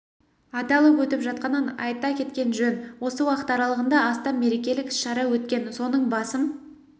аталып өтіп жатқанын айта кеткен жөн осы уақыт аралағында астам мерекелік іс-шара өткен соның басым